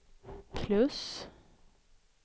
plus